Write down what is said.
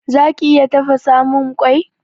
Zaki iya tafasamun mun kwai?